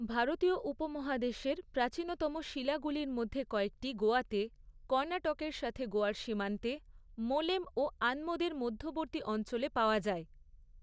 ভারতীয় উপমহাদেশের প্রাচীনতম শিলাগুলির মধ্যে কয়েকটি, গোয়াতে, কর্ণাটকের সাথে গোয়ার সীমান্তে, মোলেম ও আনমোদের মধ্যবর্তী অঞ্চলে পাওয়া যায়।